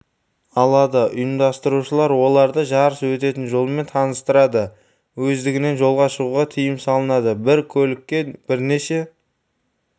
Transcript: алады ұйымдастырушылар оларды жарыс өтетін жолмен таныстырады өздігінен жолға шығуға тыйым салынады бір көлікте бірнеше